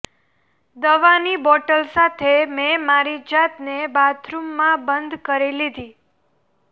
દવાની બોટલ સાથે મેં મારી જાતને બાથરૂમમાં બંધ કરી દીધી